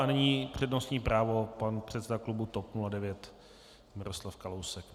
A nyní přednostní právo pan předseda klubu TOP 09 Miroslav Kalousek.